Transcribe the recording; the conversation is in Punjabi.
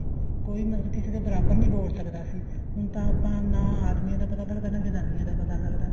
ਕੋਈ ਮਤਲਬ ਕਿਸੇ ਦੇ ਬਰਾਬਰ ਨੀ ਬੋਲ ਸਕਦਾ ਸੀ ਹੁਣ ਤਾਂ ਆਪਾਂ ਨਾ ਆਦਮੀਆਂ ਦਾ ਪਤਾ ਲੱਗਦਾ ਨਾ ਜਨਾਨੀਆਂ ਦਾ ਪਤਾ ਲੱਗਦਾ